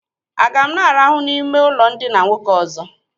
Aga m na- arahụ n'ime ụlọ ndina nwoke ọzọ?